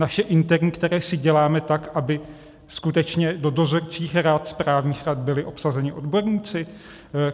Naše interní, která si děláme tak, aby skutečně do dozorčích rad, správních rad byli obsazeni odborníci?